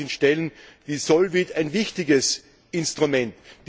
Dafür sind Stellen wie Solvit ein wichtiges Instrument.